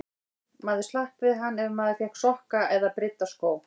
Maður slapp við hann ef maður fékk sokka eða brydda skó.